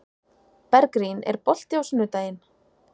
Bergrín, er bolti á sunnudaginn?